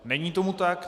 Není tomu tak.